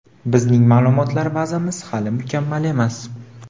bizning ma’lumotlar bazamiz hali mukammal emas.